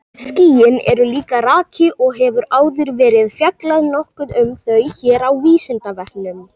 Skýin eru líka raki og hefur áður verið fjallað nokkuð um þau hér á Vísindavefnum.